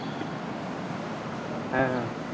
হেঁ হেঁ